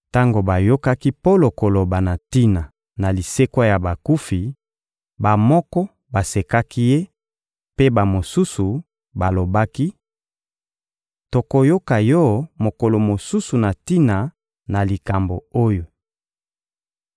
Tango bayokaki Polo koloba na tina na lisekwa ya bakufi, bamoko basekaki ye, mpe bamosusu balobaki: — Tokoyoka yo mokolo mosusu na tina na likambo oyo.